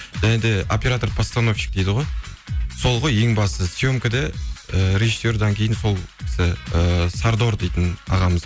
және де оператор постановщик дейді ғой сол ғой ең басты съемкіде ііі режиссерден кейін сол кісі ііі сардор дейтін ағамыз